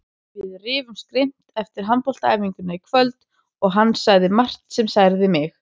Við rifumst grimmt eftir handboltaæfinguna í kvöld og hann sagði margt sem særði mig.